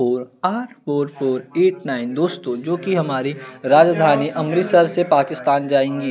Four आठ four four eight nine दोस्तों जोकि हमारे राजधानी अमृतसर से पाकिस्थान जाईगी।